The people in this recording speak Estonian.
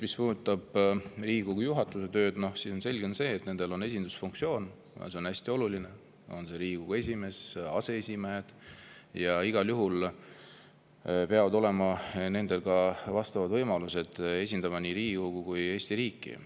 Mis puudutab Riigikogu juhatuse tööd, siis selge on see, et selle on esindusfunktsioon ja see on hästi oluline – on see Riigikogu esimees või aseesimehed – ning neil peavad olema igal juhul vastavad võimalused, et esindada nii Riigikogu kui ka Eesti riiki.